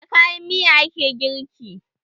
Da kayan miya ake girki.